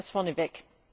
Das vorneweg.